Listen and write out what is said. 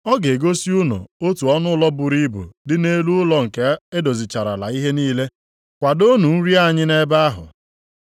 Ọ ga-egosi unu otu ọnụụlọ buru ibu dị nʼelu ụlọ nke e dozicharala ihe niile, kwadoonụ nri anyị nʼebe ahụ.”